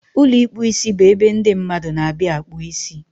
Ụlọ ịkpụ isibụ ebe ndị mmadụ n'abịa akpụ isi